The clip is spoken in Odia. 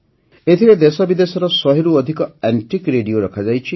ଏଥିରେ ଦେଶବିଦେଶର ଶହେରୁ ଅଧିକ ଆଣ୍ଟିକ୍ Radioରଖାଯାଇଛି